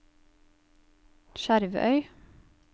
Skjervøy